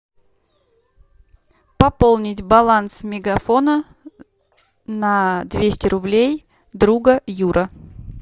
пополнить баланс мегафона на двести рублей друга юра